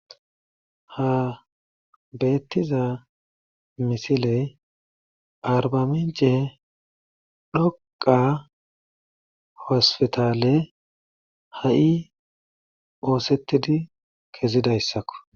Ha betiza misiley arba mice dhoqa hosputale ha'i osetidi kezidaysako